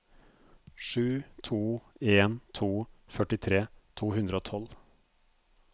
sju to en to førtitre to hundre og tolv